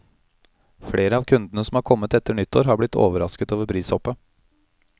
Flere av kundene som har kommet etter nyttår, har blitt overrasket over prishoppet.